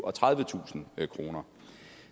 og tredivetusind kroner